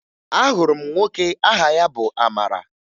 Ahụrụ m nwoke aha ya bụ Amara